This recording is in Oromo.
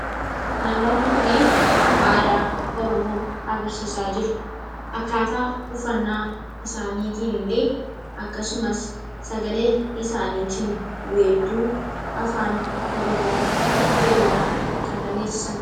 Namoonni kun aadaa Oromoo agarsiisaa jiru. Akkaataa uffannaa isaaniitiin illee akkasumas sagalee isaaniitiin weedduu Afaan Oromoo jedhuudhaan kan dhageessisan.